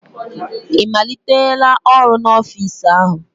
Ị malitela ọrụ n'ofiisi áhụ̀?